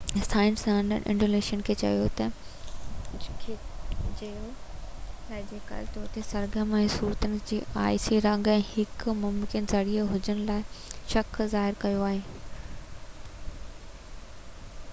سائنسدانن انسيلاڊس کي جيولاجيڪل طور تي سرگرم ۽ ستورن جي آئسي رنگ جي هڪ ممڪن ذريعي هجڻ جو شڪ ظاهر ڪيو آهي